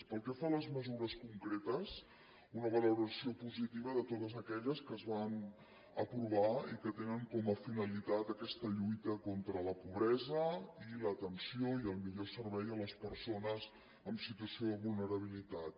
pel que fa a les mesures concretes una valoració positiva de totes aquelles que es van aprovar i que tenen com a finalitat aquesta lluita contra la pobresa i l’atenció i el millor servei a les persones en situació de vulnerabilitat